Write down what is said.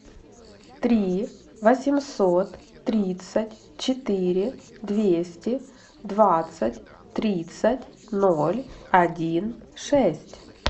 три восемьсот тридцать четыре двести двадцать тридцать ноль один шесть